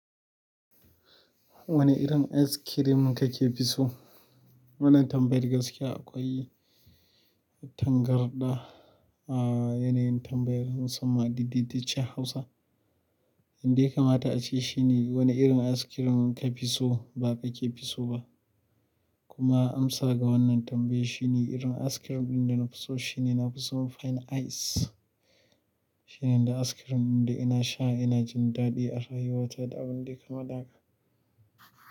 Wane irin ice cream kake fi so? Wannan tambayar gaskiya akwai tangarɗa a yanayin tambayar musamman a dedeciyar Hausa. Yanda yakamata a ce shi ne wane irin ice cream ka fi so ba ka ke fi so ba. Kuma amsa ga wannan tambaya shine irin ice cream ɗin da nafiso shine nafison pan ice shine ice cream da ina sha ina jin daɗi a rayuwata da abinda yayi kama haka.